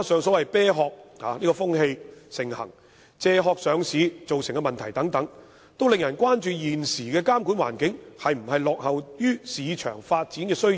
此外，"啤殼"風氣盛行，由"借殼"上市造成的問題等，都令人關注現時的監管環境是否落後於市場發展的需要。